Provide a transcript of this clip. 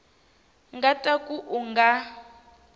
nga ta ka u nga